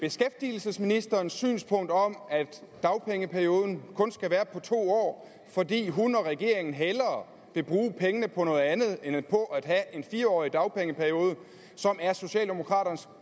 beskæftigelsesministerens synspunkt om at dagpengeperioden kun skal være på to år fordi hun og regeringen hellere vil bruge pengene på noget andet end på at have en fire årig dagpengeperiode som er socialdemokraternes